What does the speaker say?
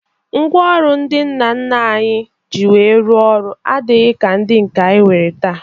Ngwaọrụ ndị nna nna anyị ji wee rụọ ọrụ adịghị ka ndị nke anyị nwee taa